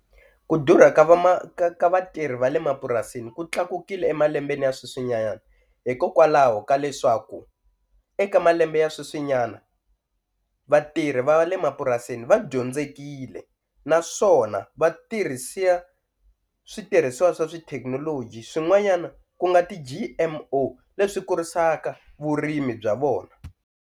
Ku durha ka va ka vatirhi va le mapurasini ku tlakukile emalembeni ya sweswinyana hikokwalaho ka leswaku eka malembe ya sweswinyana vatirhi va le mapurasini va dyondzekile naswona va tirhisa switirhisiwa swa swi tithekinoloji swin'wanyana ku nga ti-G_M_O leswi kurisaka vurimi bya vona.